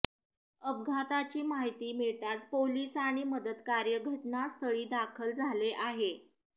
अपघाताची माहिती मिळताच पोलीस आणि मदत कार्य घटनास्थळी दाखल झाले आहे